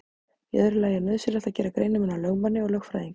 Í öðru lagi er nauðsynlegt að gera greinarmun á lögmanni og lögfræðingi.